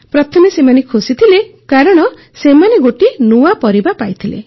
ପ୍ରଥମେ ସେମାନେ ଖୁସି ଥିଲେ କାରଣ ସେମାନେ ଗୋଟିଏ ନୂଆ ପରିବା ପାଇଥିଲେ